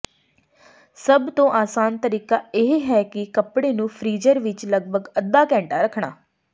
ਸਭ ਤੋਂ ਆਸਾਨ ਤਰੀਕਾ ਇਹ ਹੈ ਕਿ ਕੱਪੜੇ ਨੂੰ ਫ੍ਰੀਜ਼ਰ ਵਿਚ ਲਗਭਗ ਅੱਧਾ ਘੰਟਾ ਰੱਖਣਾ